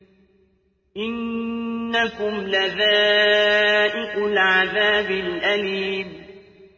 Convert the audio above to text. إِنَّكُمْ لَذَائِقُو الْعَذَابِ الْأَلِيمِ